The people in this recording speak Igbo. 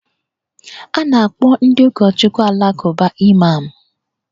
A na-akpọ ndị ụkọchukwu Alakụba Imam